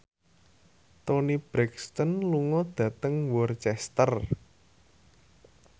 Toni Brexton lunga dhateng Worcester